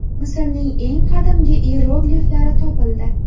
Misrning eng qadimgi iyerogliflari topildi.